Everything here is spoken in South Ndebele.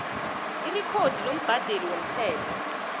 irekhodi lombhadeli womthelo